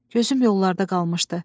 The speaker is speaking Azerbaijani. Gözüm yollarda qalmışdı.